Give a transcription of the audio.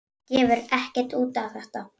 Gefur ekkert út á þetta.